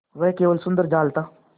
वह केवल सुंदर जाल था